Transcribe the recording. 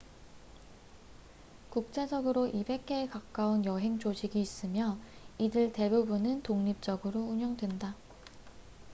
국제적으로 200개에 가까운 여행 조직이 있으며 이들 대부분은 독립적으로 운영된다